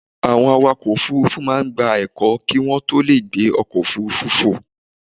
Àwọn awakọ̀ òfurufú máa ń gba ẹ̀kọ́ kí wọ́n tó lè gbé ọkọ̀ òfurufú fò.